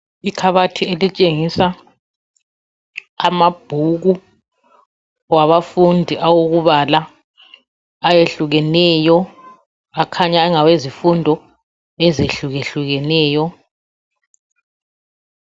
Ikabathi elitshengisa mabhuku abafundi awokubala ayahlukeneyo, akanya ngawezifundo ezihlukehlukeneyo.